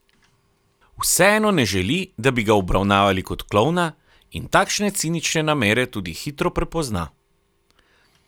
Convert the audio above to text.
Vseeno ne želi, da bi ga obravnavali kot klovna in takšne cinične namere tudi hitro prepozna.